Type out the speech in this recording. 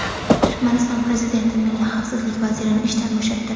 Turkmaniston prezidenti milliy xavfsizlik vazirini ishdan bo‘shatdi.